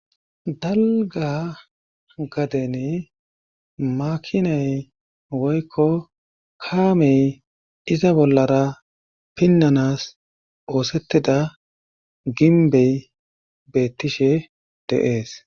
Dalga gaden makinay woykko kaamey iza bollara pinnanas oosettida ginbey beettishe deees